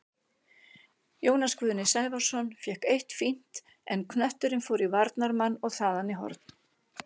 Jónas Guðni Sævarsson fékk eitt fínt, en knötturinn fór í varnarmann og þaðan í horn.